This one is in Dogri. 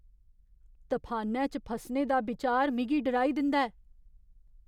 तफानै च फसने दा बिचार मिगी डराई दिंदा ऐ।